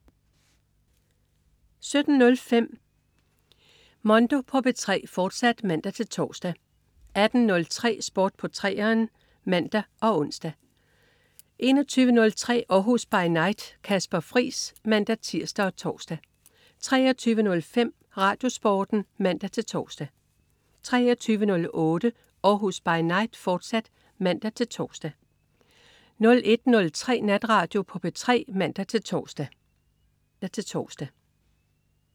17.05 Mondo på P3, fortsat (man-tors) 18.03 Sport på 3'eren (man og ons) 21.03 Århus By Night. Kasper Friis (man-tirs og tors) 23.05 RadioSporten (man-tors) 23.08 Århus By Night, fortsat (man-tors) 01.03 Natradio på P3 (man-tors)